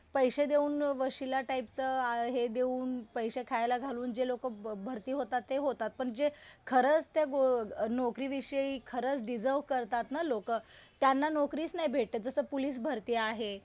जे जे आतमध्ये पैशे देऊन वशिला टाईपचं हे देऊन पैशे खायला घालून जे लोकं प्रॉपर ते होतात, ते होतात. पण जे खरंच त्या नोकरीविषयी खरंच डिजर्व करतात ना लोकं त्यांना नोकरीच नाही भेटत. जसं पोलीस भरती आहे,